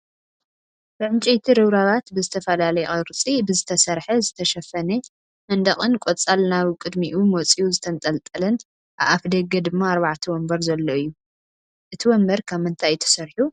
ብዕንጨይቲ ርብራባት ዝትፈላለየ ቅርፂ ብዝተሰርሐ ዝተሸፈነ መንደቅን ቆፅል ናብ ቅዲሚኡ መፅይኡ ዝተጠንጠለን ኣብ ኣፍ ደገ ድማ ኣርባዕተ ወንበር ዘሎ እዮ። እቱይ ወንበር ካብ ምንታይ እዩ ተሰሪሑ?